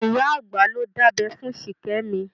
Ìyá àgbà ló dábẹ́ fún Ṣìkẹ́mi.